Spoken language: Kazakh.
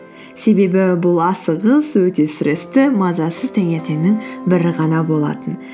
себебі бұл асығыс өте стрессті мазасыз таңертеңнің бірі ғана болатын